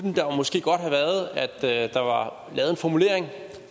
det at der var lavet en formulering